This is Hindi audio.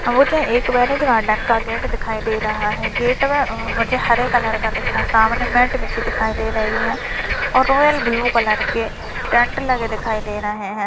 मुझे एक मैरिज गार्डन का गेट दिखाई दे रहा है गेट में अ-मुझे हरे कलर का दिखा सामने मेट बिछी दिखाई दे रही है ओर रोयल ब्लू कलर के टेन्ट लगे दिखाई दे रहे हैं।